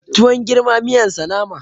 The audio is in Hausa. Tuwon girma miyan sa nama